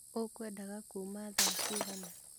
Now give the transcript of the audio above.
Ũkwendaga kuma thaa cigana?